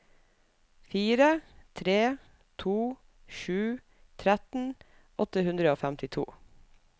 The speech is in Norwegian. fire tre to sju tretten åtte hundre og femtito